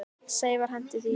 Sævar henti því hjarta.